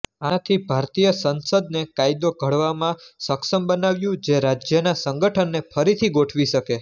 આનાથી ભારતીય સંસદને કાયદો ઘડવામાં સક્ષમ બનાવ્યું જે રાજ્યના સંગઠનને ફરીથી ગોઠવી શકે